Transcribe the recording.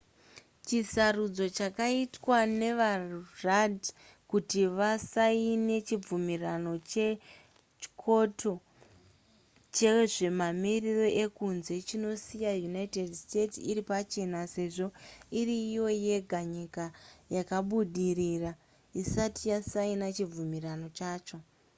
chisarudzo chakaitwa navarudd kuti vasaine chibvumirano chekyoto chezvemamiriro ekunze chinosiya united states iri pachena sezvo iri iyo yega nyika yakabudirira isati yasaina chibvumirano chacho